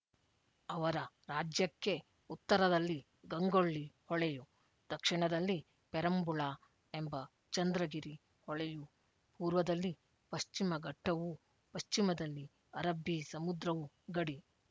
ಅವರ ರಾಜ್ಯಕ್ಕೆ ಉತ್ತರದಲ್ಲಿ ಗಂಗೊಳ್ಳಿ ಹೊಳೆಯು ದಕ್ಷಿಣದಲ್ಲಿ ಪೆರುಂಬಳಾ ಎಂಬ ಚಂದ್ರಗಿರಿ ಹೊಳೆಯೂ ಪೂರ್ವದಲ್ಲಿ ಪಶ್ಚಿಮ ಘಟ್ಟವೂ ಪಶ್ಚಿಮದಲ್ಲಿ ಅರಬ್ಬೀ ಸಮುದ್ರವು ಗಡಿ